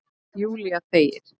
Júlía þegir.